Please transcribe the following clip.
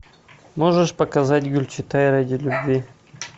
можешь показать гюльчатай ради любви